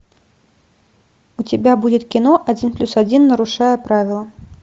у тебя будет кино один плюс один нарушая правила